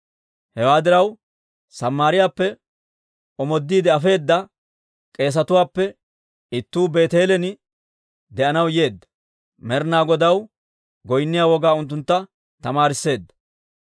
Hewaa diraw, Samaariyaappe omoodiide afeedda k'eesetuwaappe ittuu Beeteelen de'anaw yeedda; Med'ina Godaw goynniyaa wogaa unttuntta tamaarisseedda.